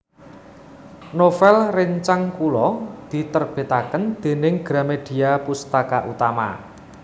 Novel rencang kulo diterbitaken dening Gramedia Pustaka Utama